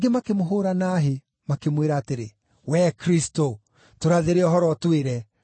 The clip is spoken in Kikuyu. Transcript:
makĩmwĩra atĩrĩ, “Wee Kristũ, tũrathĩre ũhoro ũtwĩre, nũũ wakũgũtha!”